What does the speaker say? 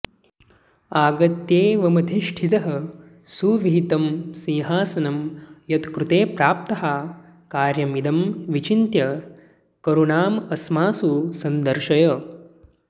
आगत्यैवमधिष्ठितः सुविहितं सिंहासनं यत्कृते प्राप्ताः कार्यमिदं विचिन्त्य करुणामस्मासु सन्दर्शय